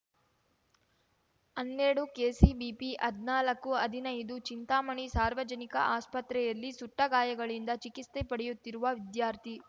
ಹನ್ನೆರಡುಕೆಸಿಬಿಪಿಹದ್ನಾಲ್ಕುಹದಿನೈದು ಚಿಂತಾಮಣಿ ಸಾರ್ವಜನಿಕ ಆಸ್ಪತ್ರೆಯಲ್ಲಿ ಸುಟ್ಟ ಗಾಯಗಳಿಂದ ಚಿಕಿತ್ಸೆ ಪಡೆಯುತ್ತಿರುವ ವಿದ್ಯಾರ್ಥಿ